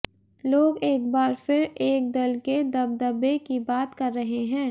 लोग एक बार फिर एक दल के दबदबे की बात कर रहे हैं